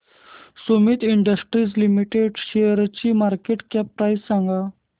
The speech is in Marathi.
सुमीत इंडस्ट्रीज लिमिटेड शेअरची मार्केट कॅप प्राइस सांगा